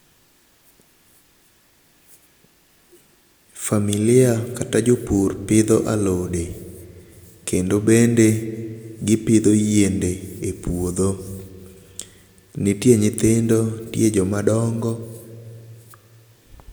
Familia[cs[ kata jopur pidho alode kendo bende gipidho yiende e puodho. Nitie nyithindo, nitie joma dongo.